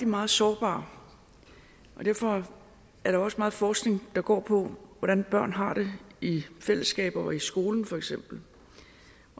meget sårbare og derfor er der også meget forskning der går på hvordan børn har det i fællesskaber og i skolen for eksempel